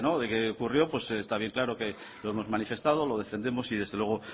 que ocurrió pues está bien claro que lo hemos manifestado lo defendemos y desde luego